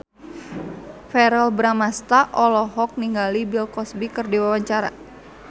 Verrell Bramastra olohok ningali Bill Cosby keur diwawancara